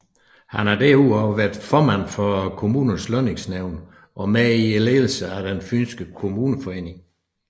Han har derudover været formand for Kommunernes Lønningsnævn og med i ledelsen af den fynske kommuneforening